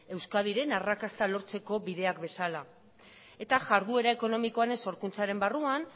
euskadiren arrakasta lortzeko bideak bezala eta jarduera ekonomikoaren sorkuntzaren barruan